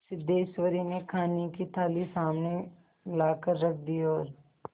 सिद्धेश्वरी ने खाने की थाली सामने लाकर रख दी और